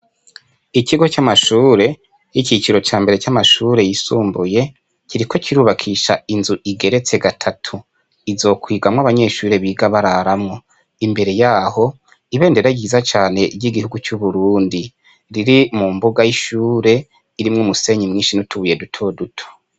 Ikigo c ' amashure c' iciciro ca mbere c' amashure yisumbuye kiriko kirubakisha inzu igeretse gatatu izokwigamwo abanyeshure biga bararamwo , imbere yaho ibendera ryiza cane ry ' igihugu c' Uburundi riri mu mbuga y' ishure irimwo umusenyi mwinshi n' utubuye duto futo .